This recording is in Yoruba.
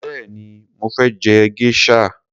Béèni mo fé je geisha.